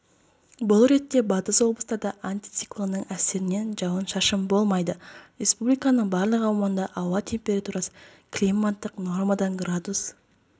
бұл ретте батыс облыстарда антициклонның әсерінен жауын-шашын болмайды республиканың барлық аумағында ауа температурасы климаттық нормадан градус